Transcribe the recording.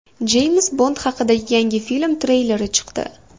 Jeyms Bond haqidagi yangi film treyleri chiqdi .